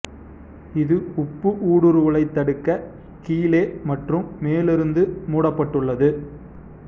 இது உப்பு ஊடுருவலைத் தடுக்க கீழே மற்றும் மேலிருந்து மூடப்பட்டுள்ளது